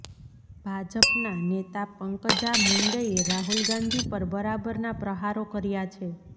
ભાજપના નેતા પંકજા મુંડેએ રાહુલ ગાંધી પર બરાબરના પ્રહારો કર્યા છે